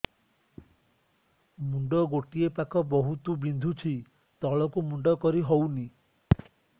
ମୁଣ୍ଡ ଗୋଟିଏ ପାଖ ବହୁତୁ ବିନ୍ଧୁଛି ତଳକୁ ମୁଣ୍ଡ କରି ହଉନି